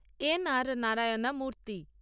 N R Narayana Murthy